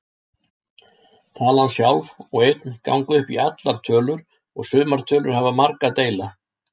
Talan sjálf og einn ganga upp í allar tölur og sumar tölur hafa marga deila.